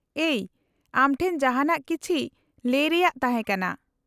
-ᱮᱭ, ᱟᱢ ᱴᱷᱮᱱ ᱡᱟᱦᱟᱱᱟᱜ ᱠᱤᱪᱷᱤ ᱞᱟᱹᱭ ᱨᱮᱭᱟᱜ ᱛᱟᱦᱮᱸ ᱠᱟᱱᱟ ᱾